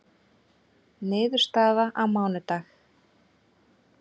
Niðurstaða á mánudag